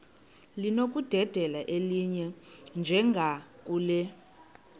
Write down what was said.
linokudedela elinye njengakule